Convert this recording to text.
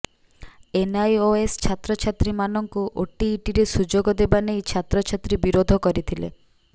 NIOS ଛାତ୍ରାଛାତ୍ରୀମାନଙ୍କୁ ଓଟିଇଟିରେ ସୁଯୋଗ ଦେବା ନେଇ ଛାତ୍ରଛାତ୍ରୀ ବିରୋଧ କରିଥିଲେ